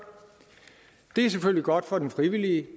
det er selvfølgelig godt for den frivillige